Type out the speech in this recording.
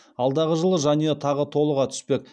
алдағы жылы жанұя тағы толыға түспек